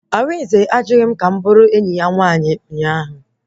Arinze ajụghị m bụrụ enyi ya nwaanyị ụnyaahụ